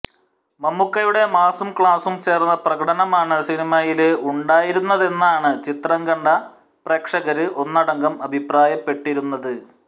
മമ്മൂക്കയുടെ മാസും ക്ലാസും ചേര്ന്ന പ്രകടനമാണ് സിനിമയില് ഉണ്ടായിരുന്നുതെന്നാണ് ചിത്രം കണ്ട പ്രേക്ഷകര് ഒന്നടങ്കം അഭിപ്രായപ്പെട്ടിരുന്നത്